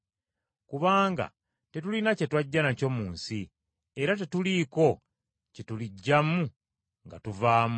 Kubanga tetulina kye twajja nakyo mu nsi, era tetuliiko kye tuliggyamu nga tuvaamu.